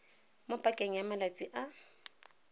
mo pakeng ya malatsi a